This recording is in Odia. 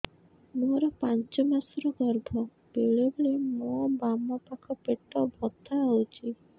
ମୋର ପାଞ୍ଚ ମାସ ର ଗର୍ଭ ବେଳେ ବେଳେ ମୋ ବାମ ପାଖ ପେଟ ବଥା ହଉଛି